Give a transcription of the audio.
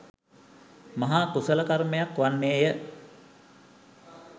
මහා කුශල කර්මයක් වන්නේ ය